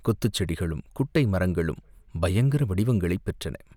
குத்துச்செடிகளும் குட்டை மரங்களும் பயங்கர வடிவங்களைப் பெற்றன.